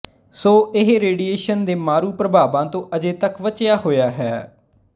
ਸੋ ਇਹ ਰੇਡੀਏਸ਼ਨ ਦੇ ਮਾਰੂ ਪ੍ਰਭਾਵਾਂ ਤੋਂ ਅਜੇ ਤੱਕ ਬਚਿਆ ਹੋਇਆ ਹੈ